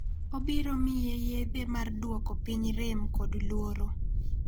Obiro miye yedhe mar duoko piny rem kod luoro.